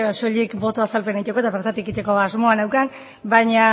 soilik boto azalpena egiteko eta bertatik egiteko asmoa neukan baina